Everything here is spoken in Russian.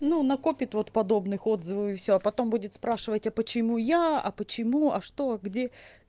ну накопит вот подобных отзывов и всё а потом будет спрашивать а почему я а почему а что а где